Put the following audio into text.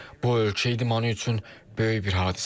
Bu ölkə idmanı üçün böyük bir hadisədir.